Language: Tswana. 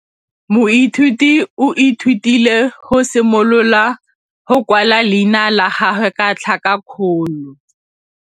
Moithuti o ithutile go simolola go kwala leina la gagwe ka tlhakakgolo.